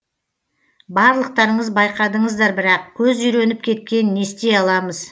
барлықтарыңыз байқадыңыздар бірақ көз үйреніп кеткен нестей аламыз